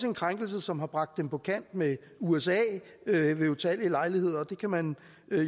en krænkelse som har bragt dem på kant med usa ved utallige lejligheder og det kan man